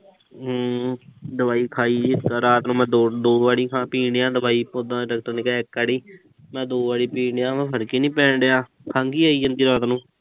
ਹਮ ਦਵਾਈ ਖਾਈ ਦੀ ਆ। ਰਾਤ ਨੂੰ ਮੈਂ ਦੋ ਦੋ ਵਾਰੀ ਖਾ ਪੀਣ ਡਿਆ ਦਵਾਈ, ਉਦਾਂ ਤਾਂ ਡਾਕਟਰ ਨੇ ਕਿਹਾ ਇੱਕ ਵਾਰੀ। ਮੈਂ ਦੋ ਵਾਰੀ ਪੀਣ ਡਿਆ ਵਾ। ਫਰਕ ਹੀ ਨੀਂ ਪੈਣ ਡਿਆ। ਖੰਘ ਹੀ ਆਈ ਜਾਂਦੀ ਆ ਰਾਤ ਨੂੰ।